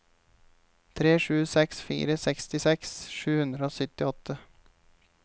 tre sju seks fire sekstiseks sju hundre og syttiåtte